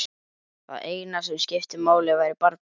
Það eina sem skipti máli væri barnið.